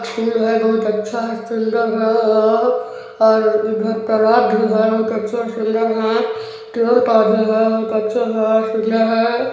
तस्वीर में बहुत अच्छा सुन्दर है और और उधर तालाब भी है बहुत अच्छा सुन्दर है पेड़-पौधे है बहुत अच्छे है है।